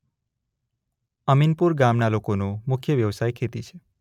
અમીનપુર ગામના લોકોનો મુખ્ય વ્યવસાય ખેતી છે.